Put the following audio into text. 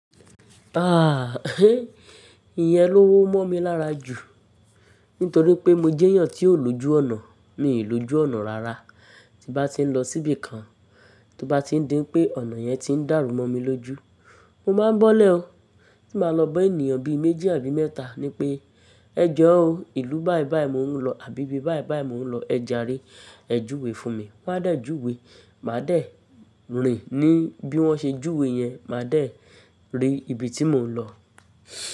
Ah, ìyẹn ló wó mó mi lára jù. Nítorí pé mo jèyàn tí ó loju ọ̀nà, mi lojú ọ̀nà rárá. Tí n bá ti ń lọ síbi kan, tó bá ti ń dí pé ọ̀nà yẹn ti ń dàrú mó mi lójú, mo máa ń bọ́lẹ̀ o. Tí màá lọ bá ènìyàn bí i méjì àbí mẹ́ta ní pé "ẹ jọ̀ọ́ o, ìlú báì báì mò ń lọ àbí ibi báì báì mò ń lo ẹ jàre, ẹ júwe fún mi." Wọn á de júwe, màá dẹ̀ rìn ní bí wọ́n ṣe júwe yẹn, màá dẹ̀ rí ibi tí mò ń lọ.